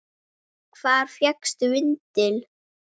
Hvar fékkstu vindil?